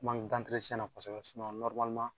Kuma nin n tɛ kosɛbɛ